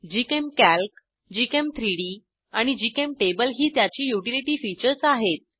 GChemCalc gchem3डी आणि GChemTable ही त्याची युटिलिटी फीचर्स आहेत